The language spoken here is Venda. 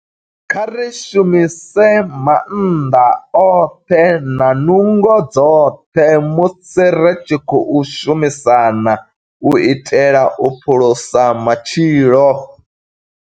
Kha ri shumise maanḓa oṱhe na nungo dzoṱhe musi ri tshi khou shumisana u itela u phulusa matshilo.